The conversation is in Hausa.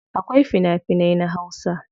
Akwai fina finai na hausa.